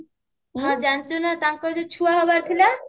ହଁ ଜାଣିଛୁ ନା ତାଙ୍କର ଯୋଉ ଛୁଆ ହବାର ଥିଲା